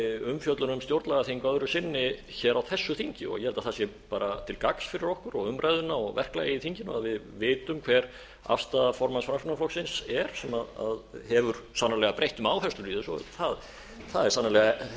umfjöllun um stjórnlagaþing öðru sinni hér á þessu þingi ég held að það sé bara til gagns fyrir okkur og umræðuna og verklagið í þinginu ef við vitum hver afstaða formanns framsóknarflokksins er sem hefur sannarlega breytt um áherslur í þessu það er sannarlega